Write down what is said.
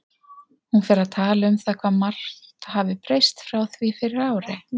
Hún fer að tala um það hvað margt hafi breyst frá því fyrir ári.